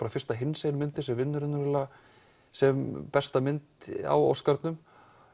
fyrsta hinsegin myndin sem vinnur sem besta mynd á Óskarnum